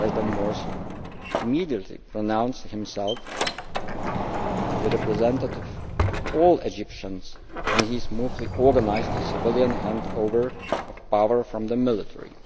President Morsi immediately announced himself the representative of all Egyptians and he smoothly organised a civilian handover of power from the military.